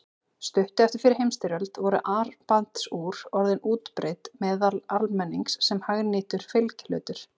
Stuttu eftir fyrri heimsstyrjöld voru armbandsúr orðin útbreidd meðal almennings sem hagnýtur fylgihlutur.